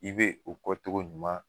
I be e kɔ togo ɲuman